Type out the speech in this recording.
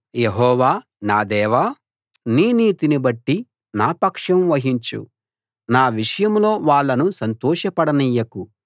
యెహోవా నా దేవా నీ నీతిని బట్టి నా పక్షం వహించు నా విషయంలో వాళ్ళను సంతోషపడనియ్యకు